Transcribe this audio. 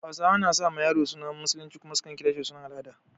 Hausawa na sa ma yaro sunan Musulunci kuma su kan kira shi da sunan al'ada.